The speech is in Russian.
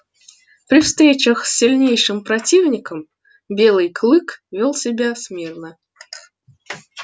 при встречах с сильнейшим противником белый клык вёл себя смирно